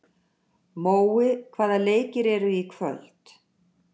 Mói, hvaða leikir eru í kvöld?